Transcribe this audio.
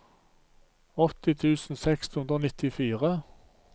åtti tusen seks hundre og nittifire